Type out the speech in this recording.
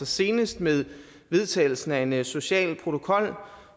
senest med vedtagelsen af en en social protokol